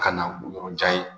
Ka na yɔrɔjan ye